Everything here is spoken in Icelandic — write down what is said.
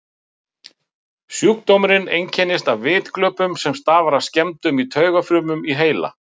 Sjúkdómurinn einkennist af vitglöpum sem stafa af skemmdum í taugafrumum í heila.